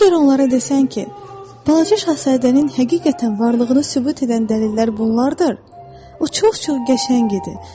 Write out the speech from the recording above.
Əgər onlara desən ki, balaca şahzadənin həqiqətən varlığını sübut edən dəlillər bunlardır, o çox-çox qəşəng idi.